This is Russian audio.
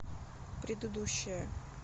предыдущая